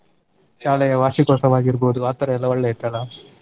ಶಾಲೆಯ ವಾರ್ಷಿಕೋತ್ಸವ ಆಗಿರ್ಬೋದು ಆತರ ಎಲ್ಲಾ ಒಳ್ಳೆ ಇತ್ತಲ್ಲ.